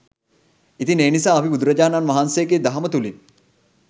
ඉතින් ඒ නිසා අපි බුදුරජාණන් වහන්සේගේ දහම තුළින්